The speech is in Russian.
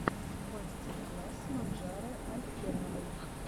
мастер класс маржаны алькеновой